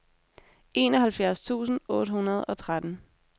enoghalvfjerds tusind otte hundrede og tretten